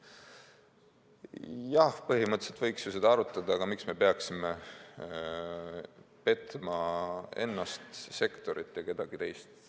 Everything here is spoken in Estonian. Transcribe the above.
Jah, põhimõtteliselt võiks ju seda arutada, aga miks me peaksime petma ennast, sektorit ja veel kedagi?